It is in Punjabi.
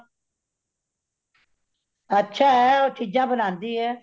ਅੱਛਾ ਹੇ ਉਹ ਚੀਜਾਂ ਬਣਾਂਦੀ ਹੇ।